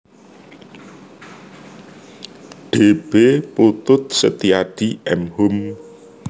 D B Putut Setiyadi M Hum